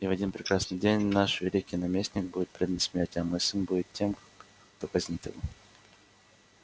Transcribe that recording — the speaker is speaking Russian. и в один прекрасный день наш великий наместник будет предан смерти а мой сын будет тем кто казнит его